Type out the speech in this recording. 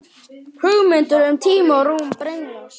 Hugmyndir um tíma og rúm brenglast.